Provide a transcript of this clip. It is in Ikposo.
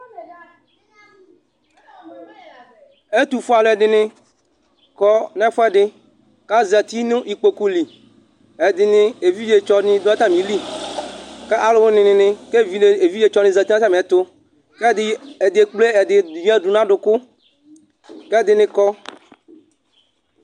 Ɛtu fue alu ɛdini kɔ n'ɛfu ɛdi, k'azati nu ikpoku lɩ Ɛdini evidze tsɔ ni du atamilɩ, k'aluwinini k'evidze evidze tsɔni zati n'atami ɛtu k'ɛdi ɛdi ekple ɛdi vidze wani du n'aduku k'ɛdini kɔ